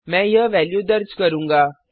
मैं यह वेल्यू दर्ज करूँगा